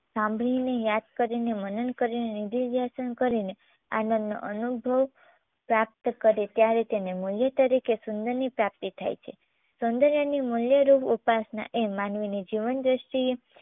સાંભળીને યાદ કરીને મનન કરીને integration કરીને આનંદનો અનુભવ પ્રાપ્ત કરે ત્યારે તેને મૂલ્ય તરીકે સુંદરની પ્રાપ્તી થાય છે. સૌંદર્યની મૂલ્ય રૂપ ઉપાસના એ માનવીની જીવન દ્રષ્ટિએ